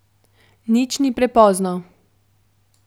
Nič ni prepozno.